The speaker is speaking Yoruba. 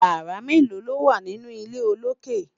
yàrá melo lowa nínú ilé olokè?